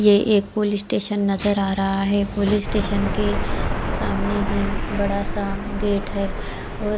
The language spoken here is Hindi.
ये एक पुलिस स्टेशन नजर आ रहा है पुलिस स्टेशन के सामने ही एक बड़ा गेट है और--